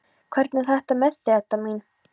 Hvernig er þetta með þig, Edda mín?